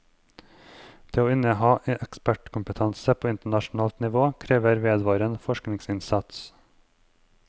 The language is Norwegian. Det å inneha ekspertkompetanse på internasjonalt nivå krever vedvarende forskningsinnsats.